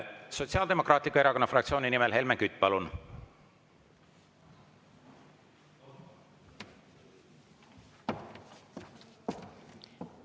Sotsiaaldemokraatliku Erakonna fraktsiooni nimel Helmen Kütt, palun!